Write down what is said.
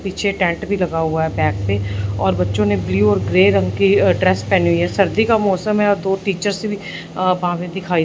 पीछे टेंट भीं लगा हुआ हैं बैक पे और बच्चों ने ब्लू और ग्रे रंग की अ ड्रेस पहनी हुई हैं सर्दी का मौसम हैं और दो टीचर्स भीं अ वहां पे दिखाई--